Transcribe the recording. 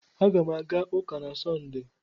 Aga m aga ụka na Sọnde.